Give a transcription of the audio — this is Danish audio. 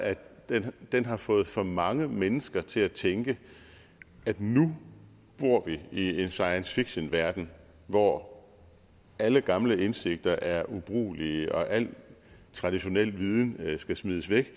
at den har fået for mange mennesker til at tænke at nu bor vi i en science fiction verden hvor alle gamle indsigter er ubrugelige og al traditionel viden skal smides væk